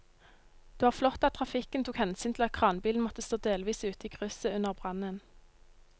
Det var flott at trafikken tok hensyn til at kranbilen måtte stå delvis ute i krysset under brannen.